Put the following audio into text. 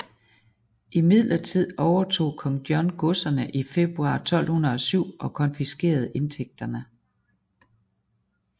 Imidlertid overtog Kong John godserne i februar 1207 og konfiskerede indtægterne